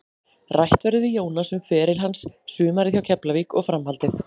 Rætt verður við Jónas um feril hans, sumarið hjá Keflavík og framhaldið.